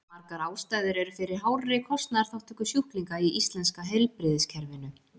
Margar ástæður eru fyrir hárri kostnaðarþátttöku sjúklinga í íslenska heilbrigðiskerfinu.